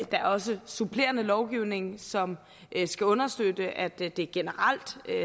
er også supplerende lovgivning som skal understøtte at det det generelt